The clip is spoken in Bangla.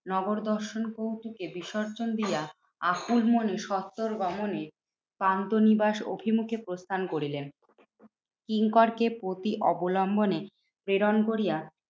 নগর দর্শন কৌতুকে বিসর্জন দিয়া আকুল মনে সত্তর গমনে পান্থনিবাস অভিমুখে প্রস্থান করিলেন। কিঙ্করকে প্রতি অবলম্বনে প্রেরণ করিয়া